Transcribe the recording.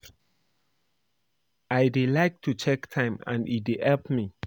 I dey like to dey check time and e dey help me